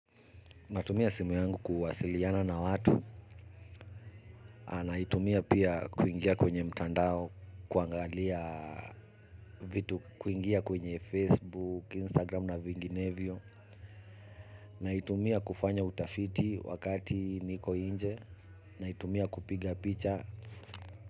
Natumia simu yangu kuwasiliana na watu naitumia pia kuingia kwenye mtandao kuangalia vitu kuingia kwenye Facebook, Instagram na vinginevyo naitumia kufanya utafiti wakati niko nje na itumia kupiga picha.